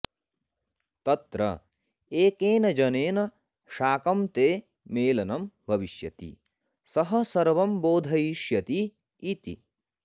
तत्र एकेन जनेन शाकं ते मेलनं भविष्यति सः सर्वं बोधयिष्यति इति